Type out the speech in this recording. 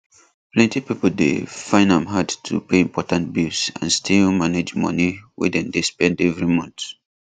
plenty people dey find am hard to pay important bills and still manage money way dem dey spend every month